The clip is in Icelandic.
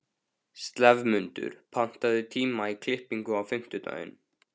slefmundur, pantaðu tíma í klippingu á fimmtudaginn.